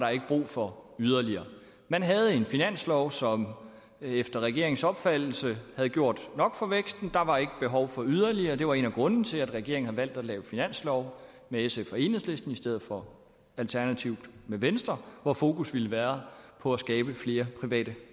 brug for yderligere man havde en finanslov som efter regeringens opfattelse havde gjort nok for væksten der var ikke behov for yderligere det var en af grundene til at regeringen havde valgt at lave finanslov med sf og enhedslisten i stedet for alternativt med venstre hvor fokus ville have været på at skabe flere private